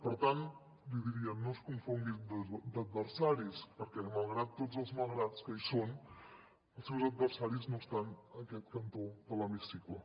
per tant li diria no es confongui d’adversaris perquè malgrat tots els malgrats que hi són els seus adversaris no estan en aquest cantó de l’hemicicle